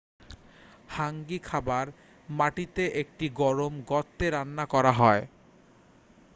হাঙ্গি খাবার মাটিতে একটি গরম গর্তে রান্না করা হয়